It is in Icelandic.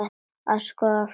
Að skoða fólkið.